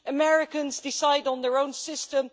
Americans decide on their own system